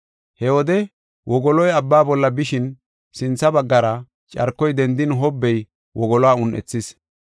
He wode wogoloy abba bolla bishin sintha baggara carkoy dendin hobbey wogoluwa un7ethis.